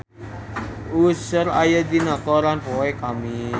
Usher aya dina koran poe Kemis